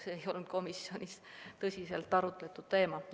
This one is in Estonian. See ei olnud komisjonis tõsiselt arutatud teema.